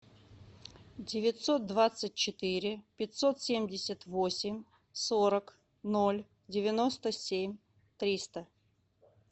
девятьсот двадцать четыре пятьсот семьдесят восемь сорок ноль девяносто семь триста